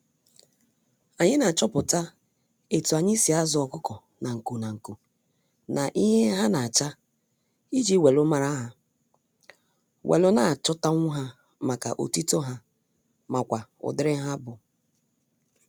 Anyi na-achọpụta etu anyi si azu ọkukọ nanku nanku na ihe ha na-acha iji welu mara ha, welu na-achọtanwu ha maka otito ha makwa udiri ha bu.